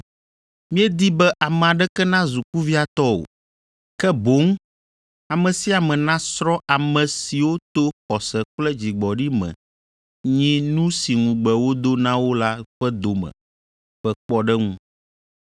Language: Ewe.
Míedi be ame aɖeke nazu kuviatɔ o, ke boŋ ame sia ame nasrɔ̃ ame siwo to xɔse kple dzigbɔɖi me nyi nu si ŋugbe wodo na wo la ƒe dome ƒe kpɔɖeŋu.